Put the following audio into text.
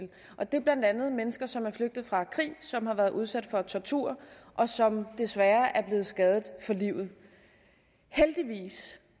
og det er blandt andet mennesker som er flygtet fra krig som har været udsat for tortur og som desværre er blevet skadet for livet heldigvis